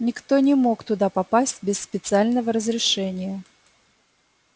никто не мог туда попасть без специального разрешения